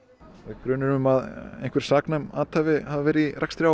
er grunur um að einhver saknæm athæfi hafi verið í rekstri